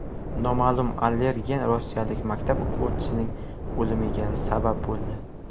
Noma’lum allergen rossiyalik maktab o‘quvchisining o‘limiga sabab bo‘ldi.